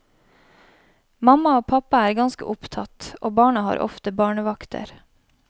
Mamma og pappa er ganske opptatt, og barna har ofte barnevakter.